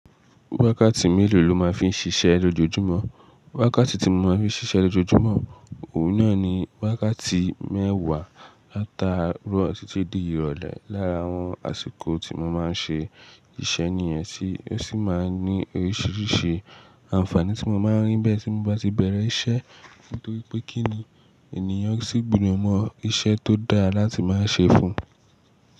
Wákàtí mélòó ló máa fi ń ṣiṣẹ́ lójoojúmọ́? Wákàtí tí mo máa ń fi ṣiṣẹ́ lójoojúmọ́, òun náà ni wákàtí mẹ́wà látaró títí di ìrọ̀lẹ́. Lára àwọn àsìkò tí mo máa ń ṣe iṣẹ́ nìyẹn, tí ó sì máa ń ní oríṣiríṣi àǹfààní tí mo máa ń rí bẹ́ẹ̀ tí mo bá ti bẹ̀rẹ̀ iṣẹ́. Nítorí pé kí ni ènìyàn sì gbódò mọ iṣẹ́ tó dáa láti máa ṣe fún un.